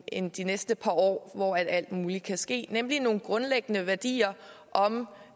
end de næste par år hvor alt muligt kan ske nemlig nogle grundlæggende værdier om